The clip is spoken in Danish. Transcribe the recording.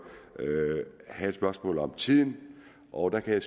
havde et spørgsmål om tiden og der kan